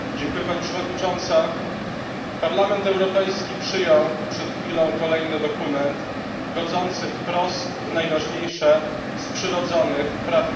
Parlament Europejski przyjął przed chwilą kolejny dokument godzący wprost w najważniejsze z przyrodzonych praw ludzkich, w prawo do życia.